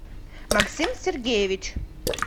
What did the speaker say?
максим сергеевич